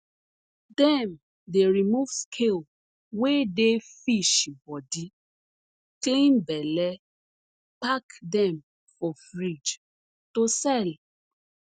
dem dey remove scale wey dey fish bodi clean belle pack dem for fridge to sell